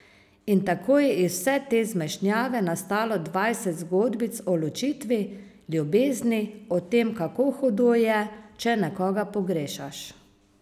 In tako je iz vse te zmešnjave nastalo dvajset zgodbic o ločitvi, ljubezni, o tem, kako hudo je, če nekoga pogrešaš.